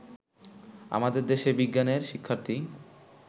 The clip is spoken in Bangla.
আমাদের দেশে বিজ্ঞানের শিক্ষার্থী